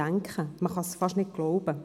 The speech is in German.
man kann es fast nicht glauben.